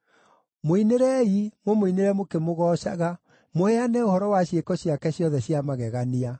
Mũinĩrei, mũmũinĩre mũkĩmũgoocaga, mũheane ũhoro wa ciĩko ciake ciothe cia magegania.